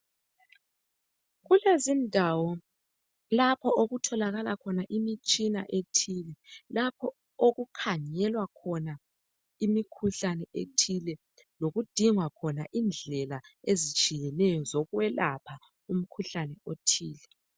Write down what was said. Kulezindawo lapho okutholakala khona imitshina ethile ,lapho okukhangelwa khona imikhuhlane ethile lokudingwa khona indlela ezitshiyeneyo zokwelapha umkhuhlane othile.